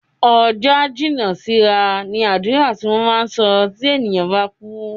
"Ọjọ́ á jìnnà sí ra" ni àdúrà tí wọ́n máa ń sọ tí ènìyàn bá kú